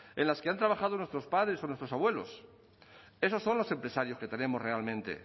en las que han trabajado nuestros padres o nuestros abuelos esos son los empresarios que tenemos realmente